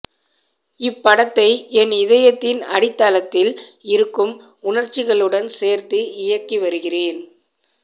இப்படத்தை என் இதயத்தின் அடித்தளத்தில் இருக்கும் உணர்ச்சிகளுடன் சேர்த்து இயக்கி வருகிறேன்